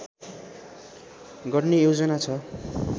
गर्ने योजना छ